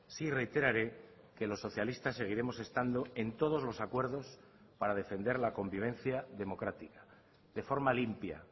sí reiteraré que los socialistas seguiremos estando en todos los acuerdos para defender la convivencia democrática de forma limpia